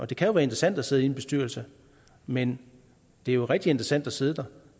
det kan jo være interessant at sidde i en bestyrelse men det er rigtig interessant at sidde der